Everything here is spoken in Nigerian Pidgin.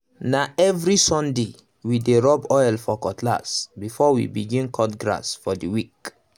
na every sunday we dey rub oil for cutlass before we begin cut grass for the week